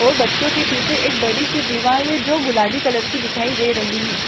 और बच्चो के पीछे एक बड़ी सी दीवाल जो गुलाबी कलर की दिखाई दे रही है।